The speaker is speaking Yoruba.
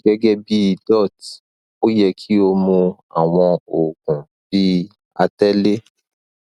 gẹgẹbi dots o yẹ ki o mu awọn oogun bi atẹle